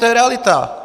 To je realita.